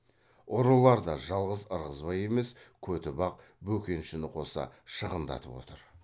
ұрылар да жалғыз ырғызбай емес көтібақ бөкеншіні қоса шығындатып отыр